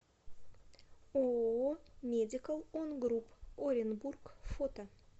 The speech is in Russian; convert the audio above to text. ооо медикал он груп оренбург фото